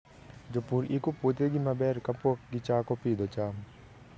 Jopur iko puothegi maber kapok gichako pidho cham.